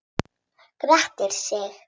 Grettir sig.